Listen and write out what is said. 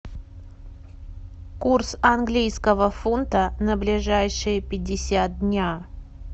курс английского фунта на ближайшие пятьдесят дня